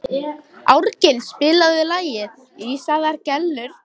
Árgils, spilaðu lagið „Ísaðar Gellur“.